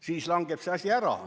Siis langeb see asi ära.